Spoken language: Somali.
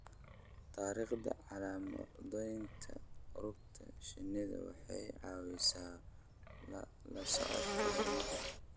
Taariikhda calaamadaynta rugta shinnida waxay caawisaa la socodka horumarka.